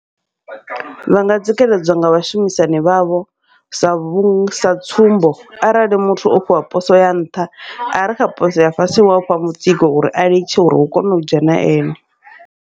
Vha nga tsikeledzwa nga vhashumisani vhavho, sa vhu sa tsumbo arali muthu o fhiwa poso ya nṱha are kha poso ya fhasi u afha mutsiko uri a litshe uri hu kone u dzhena ene.